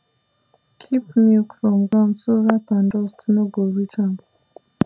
keep milk from ground so rat and dust no go reach am